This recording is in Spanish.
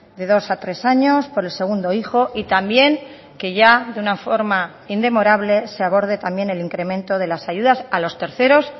de dos a tres años por el segundo hijo y también que ya de una forma indemorable se aborde también el incremento de las ayudas a los terceros